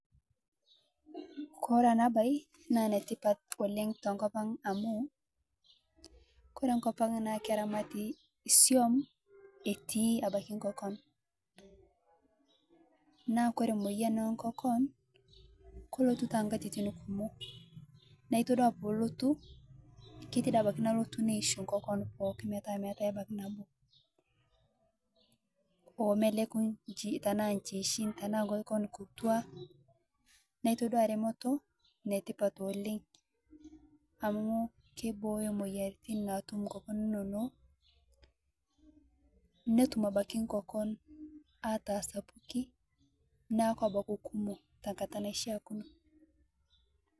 Koree enabae na enetipat oleng tenkopang amu ore enkop aang na keramati isuam etii ebaki nkokon na ore emoyian onkokon kelotu tonkatitim kumol na toduo pelotu neisho nkokon pookimetaa meetae ebaki nabo omeleku tanaa nkiitin tanaa nkokoon kituak.